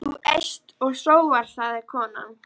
Þú eyst og sóar, sagði konan.